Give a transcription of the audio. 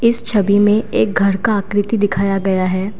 इस छवि में एक घर का आकृति दिखाया गया है।